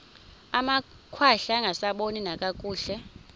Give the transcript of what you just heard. amakhwahla angasaboni nakakuhle